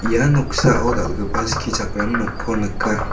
ia noksao dal·gipa skichakram nokko nika.